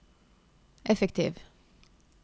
effektiv